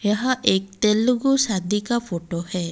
यह एक तेलुगु शादी का फोटो है।